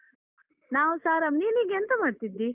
ನಾವುಸ ಆರಂ, ನೀನೀಗ ಎಂತ ಮಾಡ್ತಿದ್ದಿ?